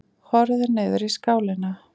Horfði niður í skálina.